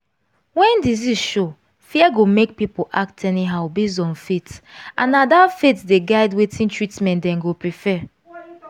when disease show fear go make people act anyhow based on faith and na that faith dey guide wetin treatment dem go prefer.